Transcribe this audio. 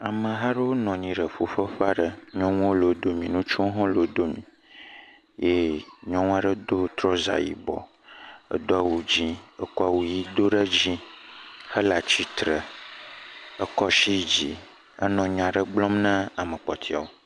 Ameha aɖewo nɔ anyi ɖe ƒuƒoƒe aɖe, nyɔnuwo le wo dome, ŋutsuwo hã le wo dome, eye nyɔnu aɖe do trɔza yibɔ, edo awu dzɛ̃, ekɔ awu ʋɛ̃ do ɖe dzi, hele atsitre, ekɔ asi dzi hele nya aɖe gblɔm ne ame kpɔtɔewo.